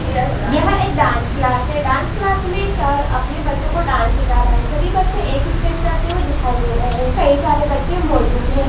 यह एक dance class है । डांस क्लास में सर अपने बच्चों को डांस सिखा रहें हैं सभी बच्चे एक ही स्टेप करते हुई दिखाई दे रहे हैं कई सारे बच्चे मौजूद हैं।